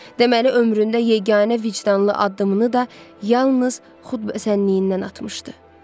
Deməli ömründə yeganə vicdanlı addımını da yalnız xudbəsənliyindən atmışdı.